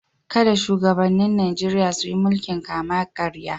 Kada shugabannin Najeriya su yi mulkin kama-karya.